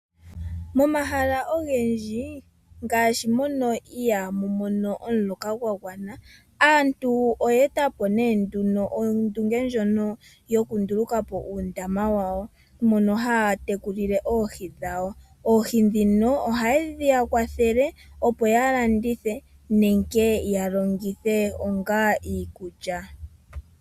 Momahala ogendji ngaashi mono ihaamu mono omuloka gwagwana. Aantu oye etapo nee nduno ondunge ndjono yokunduluka po uundama wawo, mono haya tekulile oohi dhawo. Oohi ndhino ohadhi yakwathele opo yalandithe nenge yalongithe onga iikulya.